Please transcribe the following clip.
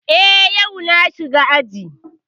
Eh, yau na shiga aji